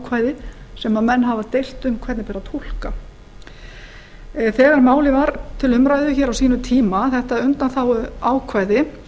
er undanþáguákvæðið sem menn hafa deilt um hvernig beri að túlka þegar málið var til umræðu hér á sínum tíma þetta undanþáguákvæði